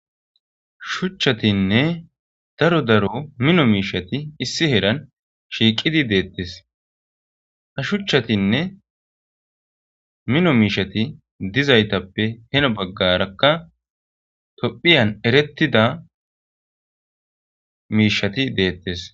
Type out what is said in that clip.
Shuuchchatinne miiththatti issi heeran shiiqqidi de'etes ha shuuchchatinne minno miishshati dizayssappe heeno baggarakka tophphiyan eeretida miishshati de'etes.